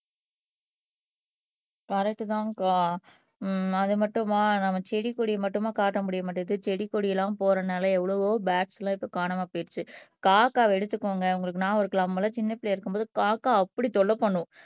கரெக்ட்தான்கா அஹ் அது மட்டுமா நம்ம செடி கொடி மட்டுமா காட்ட முடிய மாட்டேங்குது செடி கொடி எல்லாம் போறதுனால எவ்வளவோ போர்ட்ஸ் எல்லாம் இப்ப காணாம போயிடுச்சு காக்காவை எடுத்துக்கோங்க உங்களுக்கு நான் ஒரு போல சின்ன பிள்ளையா இருக்கும்போது காக்கா அப்படி தொல்லை பண்ணும்